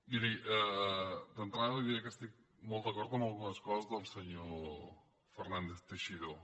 miri d’entrada li diré que estic molt d’acord en algunes coses del senyor fernández teixidó